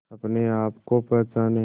अपने आप को पहचाने